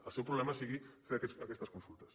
el seu problema sigui fer aquestes consultes